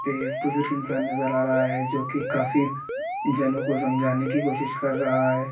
एक बुजुर्ग इन्‍सान नज़र आ रहा है जो कि काफी जनो समझाने की कोशिश कर रहा है।